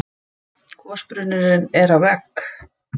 Gosbrunnurinn er á vegg